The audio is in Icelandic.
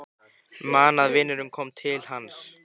Man að vinurinn kom til hans.